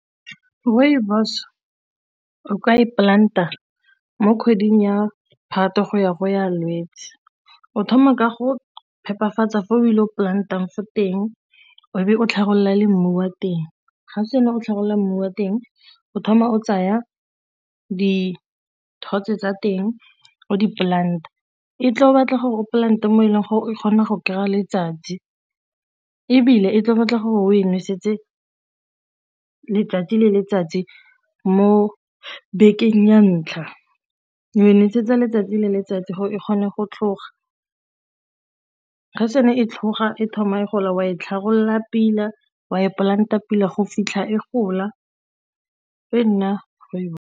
Rooibos o ka e plant-a mo kgweding ya Phatwe go ya go ya Lwetse, o thoma ka go phepafatsa fa o ile go plant-ang fo teng o be o tlhagolela le mmu wa teng, ga se ne o tlhagolela mmu wa teng o thoma o tsaya dithotse tsa teng o di-plant-a e tla batla gore o plant-e mo e leng gore e kgona go kry-a letsatsi, ebile e tla batla gore o e nosetse letsatsi le letsatsi mo bekeng ya ntlha, o e nosetsa letsatsi le letsatsi gore e kgone go tlhoga ga e sena e tlhoga e thoma e gola o a e tlhabolola pila wa e plant-a pila go fitlha ko gola e nna .